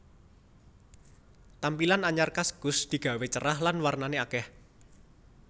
Tampilan anyar kaskus digawe cerah lan wernane akeh